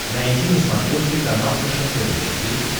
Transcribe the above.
найти на смотрешке канал фэшен тв четыре к